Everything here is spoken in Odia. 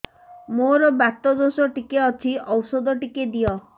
ମୋର୍ ବାତ ଦୋଷ ଟିକେ ଅଛି ଔଷଧ ଟିକେ ଦିଅ